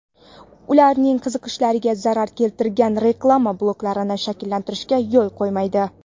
ularning qiziqishlariga zarar keltiradigan reklama bloklarini shakllantirishga yo‘l qo‘ymaydi.